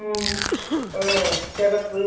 நாங்க அதை online ல பார்த்து order போட்டோம்.